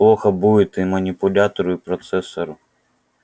плохо будет и манипулятору и процессору